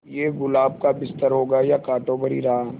ये गुलाब का बिस्तर होगा या कांटों भरी राह